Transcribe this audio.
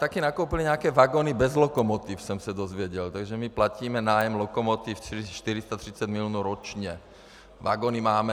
Taky nakoupili nějaké vagony bez lokomotiv, jsem se dozvěděl, takže my platíme nájem lokomotiv 430 milionů ročně, vagony máme.